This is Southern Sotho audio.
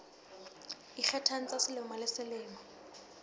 ikgethang tsa selemo le selemo